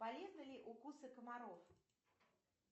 полезны ли укусы комаров